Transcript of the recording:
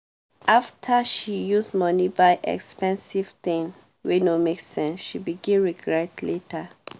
after she use money buy expensive thing wey no make sense she begin regret later.